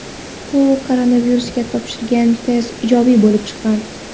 U koronavirusga topshirgan test ijobiy bo‘lib chiqqan.